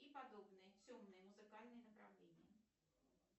и подобные темные музыкальные направления